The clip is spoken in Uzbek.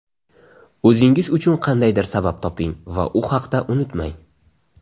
O‘zingiz uchun qandaydir sabab toping va u haqda unutmang.